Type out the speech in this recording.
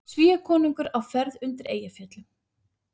Svíakonungur á ferð undir Eyjafjöllum